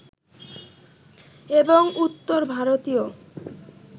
এবং উত্তর ভারতীয়